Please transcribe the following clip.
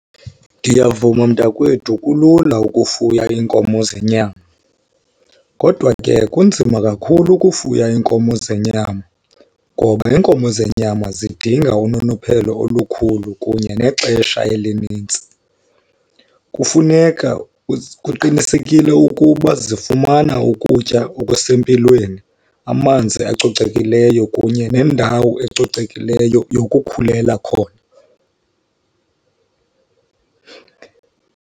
Ndiyavuma mntakwethu kulula ukufuya iinkomo zenyama. Kodwa ke kunzima kakhulu ukufuya iinkomo zenyama ngoba iinkomo zenyama zidinga unonophelo olukhulu kunye nexesha elinintsi. Kufuneka kuqinisekile ukuba zifumana ukutya okusempilweni, amanzi acocekileyo kunye nendawo ecocekileyo yokukhulela khona.